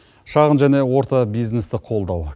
шағын және орта бизнесті қолдау